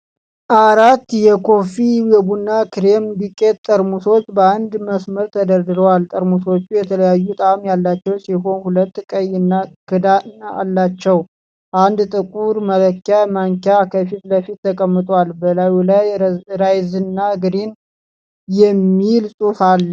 አራት የ"ኮፊ" የቡና ክሬም ዱቄት ጠርሙሶች በአንድ መስመር ተደርድረዋል። ጠርሙሶቹ የተለያዩ ጣዕም ያላቸው ሲሆኑ፣ ሁሉም ቀይ ክዳን አላቸው። አንድ ጥቁር መለኪያ ማንኪያ ከፊት ለፊት ተቀምጦአል፤ በላዩ ላይ ራይዝና ግሪን" የሚል ጽሑፍ አለ።